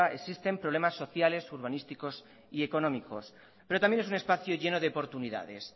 existen problemas sociales urbanísticos y económicos pero también es un espacio lleno de oportunidades